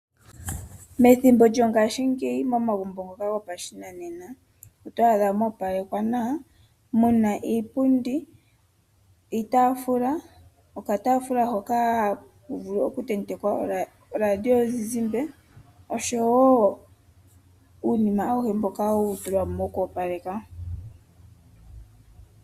Methimbo lyongaashingeyi momagumbo ngoka gopashinanena oto adha moopalekwa nawa , muna iipundi , iitaafula, okataafula hoka haka vulu okutentekwa oradio yomuzizimba oshowoo uunima auhe wokoopaleka.